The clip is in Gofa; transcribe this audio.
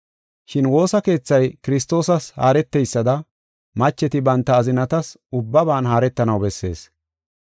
Shin woosa keethay Kiristoosas haareteysada macheti banta azinatas ubbaban haaretanaw bessees.